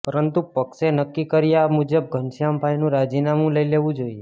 પરંતુ પક્ષે નક્કી કર્યા મુજબ ઘનશ્યામભાઈનું રાજીનામુ લઈ લેવું જોઈએ